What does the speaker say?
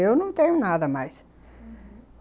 Eu não tenho nada mais, uhum...